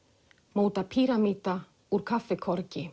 móta píramída úr